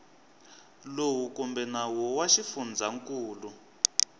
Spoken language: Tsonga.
lowu kumbe nawu wa xifundzankulu